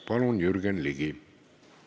Palun, Jürgen Ligi!